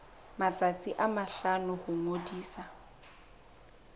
matsatsi a mahlano ho ngodisa